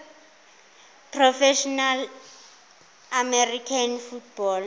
professional american football